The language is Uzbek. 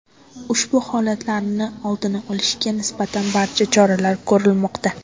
Ushbu holatlarni oldini olishga nisbatan barcha choralar ko‘rilmoqda.